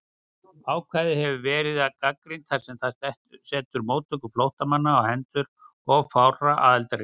Ákvæðið hefur verið gagnrýnt þar sem það setur móttöku flóttamanna á hendur of fárra aðildarríkja.